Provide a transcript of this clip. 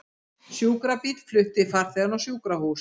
Sjúkrabíll flutti farþegann á sjúkrahús